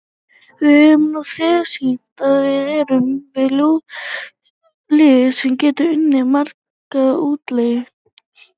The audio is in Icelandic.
Við höfum nú þegar sýnt að við erum lið sem getur unnið marga útileiki.